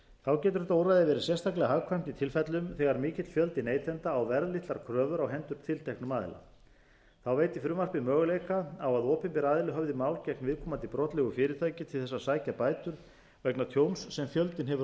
þá getur þetta úrræði verið sérstaklega hagkvæmt í tilfellum þegar mikill fjöldi neytenda á verðlitlar kröfur á hendur tilteknum aðila þá veitir frumvarpið möguleika á að opinber aðili höfði mál gegn viðkomandi brotlegu fyrirtæki til þess að sækja bætur vegna tjóns sem fjöldinn hefur orðið